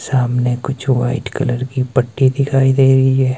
सामने कुछ white colour की पट्टी दिखाई दे रही है।